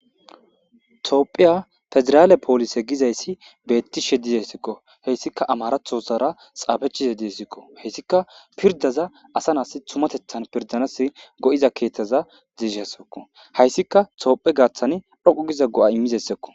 toophiya federaale poolise gizayssi beettishe dizessikko heyssika amarathosara xaafechize dizessikko heyssika pirdaza asa naassi tumatethan pirdanassi go7iza keeththaza dizesikko hayssika toophe gaaththan dhoqu giza go7a immizeyssakko.